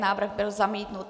Návrh byl zamítnut.